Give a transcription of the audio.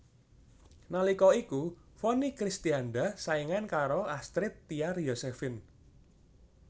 Nalika iku Vonny Kristianda saingan karo Astrid Tiar Yosephine